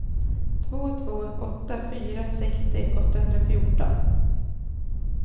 två två åtta fyra sextio åttahundrafjorton